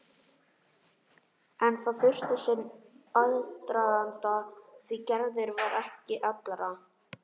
En það þurfti sinn aðdraganda því Gerður var ekki allra.